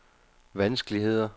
vanskeligheder